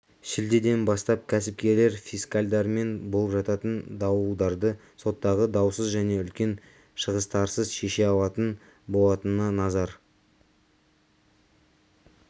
шілдеден бастап кәсіпкерлер фискальдармен болып жататын дауларды соттағы даусыз және үлкен шығыстарсыз шеше алатын болататынына назар